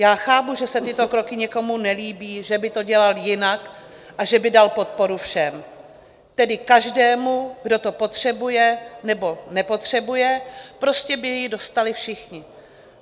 Já chápu, že se tyto kroky někomu nelíbí, že by to dělal jinak a že by dal podporu všem, tedy každému, kdo to potřebuje, nebo nepotřebuje, prostě by ji dostali všichni.